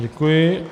Děkuji.